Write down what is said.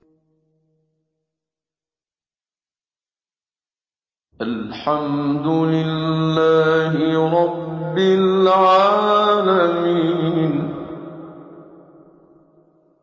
الْحَمْدُ لِلَّهِ رَبِّ الْعَالَمِينَ